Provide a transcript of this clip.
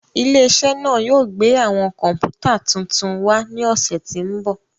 Ile-iṣẹ naa yoo gbe awọn kọǹpútà tuntun wa ni ọsẹ ti n bọ.